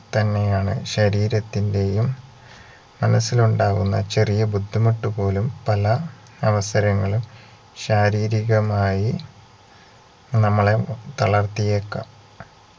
തന്നെയാണ് ശരീരത്തിന്റെയും മനസിലുണ്ടാവുന്ന ചെറിയ ബുദ്ധിമുട്ട് പോലും പല അവസരങ്ങളും ശാരീരികമായി നമ്മളെ തളർത്തിയേക്കാം